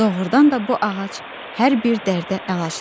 Doğrudan da bu ağac hər bir dərdə əlacdır.